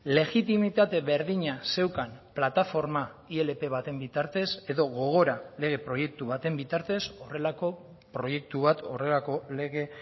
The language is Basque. legitimitate berdina zeukan plataforma ilp baten bitartez edo gogora lege proiektu baten bitartez horrelako proiektu bat horrelako lege